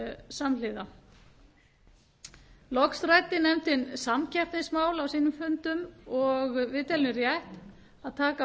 samhliða loks ræddi nefndin samkeppnismálin á fundum sínum og meiri hlutinn telur rétt að taka